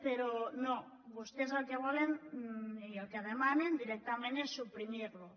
però no vostès el que volen i el que demanen directament és suprimir lo